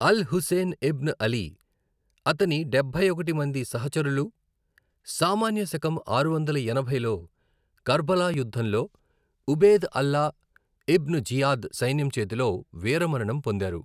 అల్ Hussain ibn Ali, అతని డబ్బై ఒకటి మంది సహచరులు, సామాన్య శకం ఆరు వందల ఎనభైలో కర్బలా యుద్ధంలో ఉబేద్ అల్లా ఇబ్న్ జియాద్ సైన్యం చేతిలో వీరమరణం పొందారు.